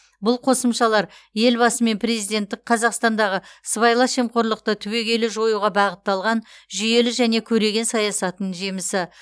бұл қосымшалар елбасы мен президенттің қазақстандағы сыбайлас жемқорлықты түбегейлі жоюға бағытталған жүйелі және көреген саясатының жемісі